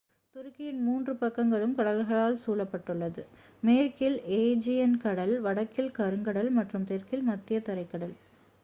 துருக்கியின் மூன்று பக்கங்களும் கடல்களால் சூழப்பட்டுள்ளது மேற்கில் ஏஜியன் கடல் வடக்கில் கருங்கடல் மற்றும் தெற்கில் மத்திய தரைக்கடல்